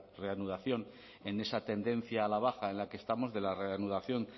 reanudación en esa tendencia a la baja en la que estamos de la reanudación